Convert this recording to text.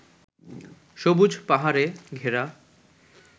সবুজ পাহাড়ে ঘেরা